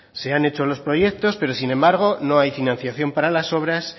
se han hecho los proyectos pero sin embargo no hay financiación para las obras